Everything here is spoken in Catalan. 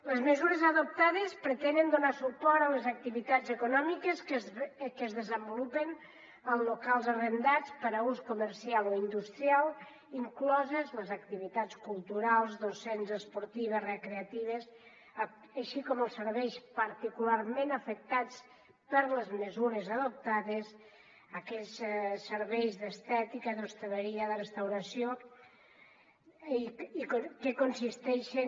les mesures adoptades pretenen donar suport a les activitats econòmiques que es desenvolupen en locals arrendats per a ús comercial o industrial incloses les activitats culturals docents esportives recreatives així com els serveis particularment afectats per les mesures adoptades aquells serveis d’estètica d’hostaleria de restauració i que consisteixen